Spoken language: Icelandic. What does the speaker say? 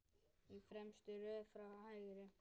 Í fremstu röð frá hægri